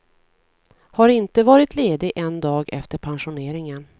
Har inte varit ledig en dag efter pensioneringen.